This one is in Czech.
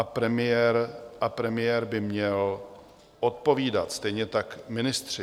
A premiér by měl odpovídat, stejně tak ministři.